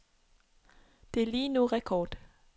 Det er lige nu rekord.